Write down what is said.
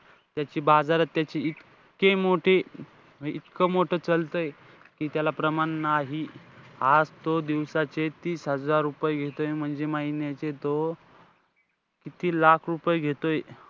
त्याची बाजारात त्याची इतकी मोठी, इतकं मोठं चालतंय कि त्याला प्रमाण नाही. आज तो दिवसाचे तीस हजार रुपये घेतोय म्हणजे महिन्याचे तो किती लाख रुपये घेतोय.